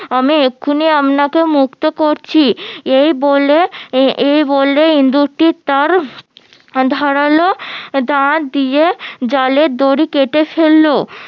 আমি এক্ষুনি আপনাকে মুক্ত করছি এই বলে এই বলে ইন্দুর টি তার ধারালো দাঁত দিয়ে জালের দড়ি কেটে ফেললো